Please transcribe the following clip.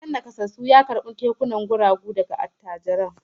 Gidan nakasassun ya karbi taimakon kekunan guragu daga attajirin